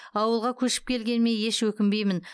ауылға көшіп келгеніме еш өкінбеймін